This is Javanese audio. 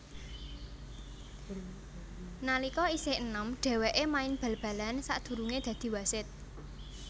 Nalika isih enom dhèwèké main bal balan sadurungé dadi wasit